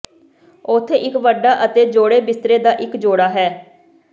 ਉੱਥੇ ਇੱਕ ਵੱਡਾ ਅਤੇ ਜੌੜੇ ਬਿਸਤਰੇ ਦਾ ਇੱਕ ਜੋੜਾ ਹੈ